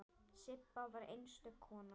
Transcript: Sibba var einstök kona.